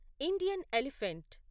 Indian elephant